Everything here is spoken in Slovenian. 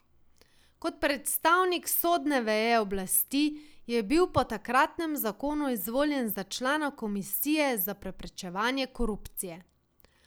Kot predstavnik sodne veje oblasti je bil po takratnem zakonu izvoljen za člana Komisije za preprečevanje korupcije.